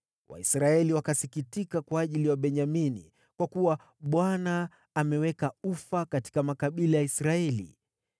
Waisraeli wakasikitika kwa ajili ya Wabenyamini, kwa kuwa Bwana ameweka ufa katika makabila ya Israeli.